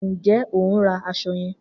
Njẹ o n ra aṣọ yan?